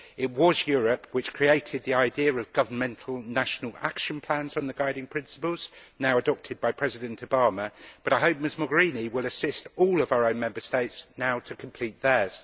It was Europe which created the idea of governmental national action plans on the guiding principles, now adopted by President Obama, but I hope Ms Mogherini will assist all of our own Member States now to complete theirs.